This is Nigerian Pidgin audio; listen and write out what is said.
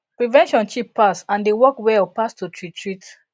prevention cheap pass and dey work well pass to treat treat